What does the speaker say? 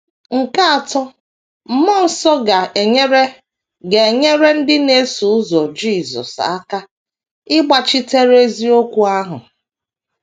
Nke atọ, mmụọ nsọ ga - enyere ga - enyere ndị na - eso ụzọ Jisọs aka ịgbachitere eziokwu ahụ.